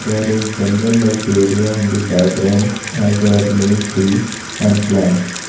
there is jungle areas in the background as there are many trees and plants.